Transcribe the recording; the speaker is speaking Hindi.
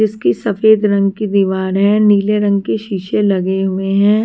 इसकी सफेद रंग की दीवार है नीले रंग के शीशे लगे हुए हैं।